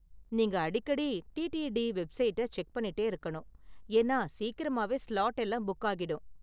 நீங்க அடிக்கடி டிடிடி வெப்சைட்டை செக் பண்ணிட்டே இருக்கணும், ஏன்னா சீக்கிரமாவே ஸ்லாட் எல்லாம் புக் ஆகிடும்.